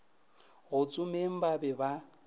go tsomeng ba be ba